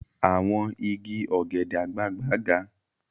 Àwọn igi ọ̀gẹ̀dẹ̀ àgbagbà ga.